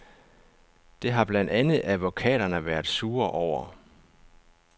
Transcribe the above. Det har blandt andet advokaterne været sure over.